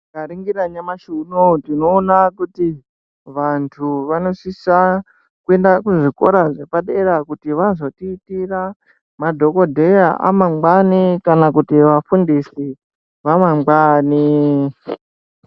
Tika ningira nyamashi unowo tino ona kuti vantu vano sisa kuenda ku zvikora zvepa dera kuti vazotiitira madhokoteya a mangwani kana kuti vafundisi va mangwani.